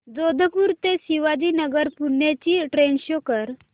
जोधपुर ते शिवाजीनगर पुणे ची train show कर